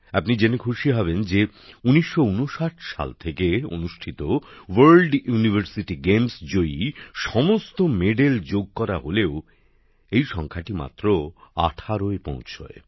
আপনি জেনে খুশি হবেন যে ১৯৫৯ সাল থেকে অনুষ্ঠিত আন্তর্জাতিক বিশ্ববিদ্যালয় ক্রীড়া প্রতিযোগিতায় প্রাপ্ত সমস্ত পদক যোগ করা হলেও এই সংখ্যাটি মাত্র ১৮এ পৌঁছায়